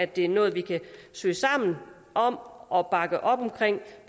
det er noget vi kan søge sammen om at bakke op om